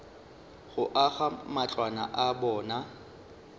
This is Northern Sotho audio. go aga matlwana a bona